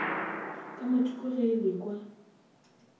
ka mathoko ge e lekwa